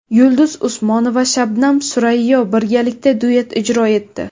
Yulduz Usmonova va Shabnami Surayyo birgalikda duet ijro etdi .